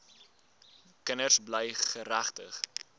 kinders bly geregtig